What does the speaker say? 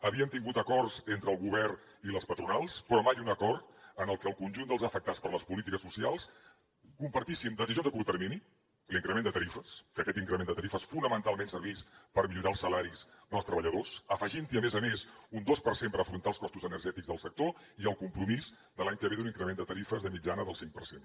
havíem tingut acords entre el govern i les patronals però mai un acord en el que el conjunt dels afectats per les polítiques socials compartíssim decisions a curt termini l’increment de tarifes que aquest increment de tarifes fonamentalment servís per millorar els salaris dels treballadors afegint hi a més a més un dos per cent per afrontar els costos energètics del sector i el compromís per a l’any que ve d’un increment de tarifes de mitjana del cinc per cent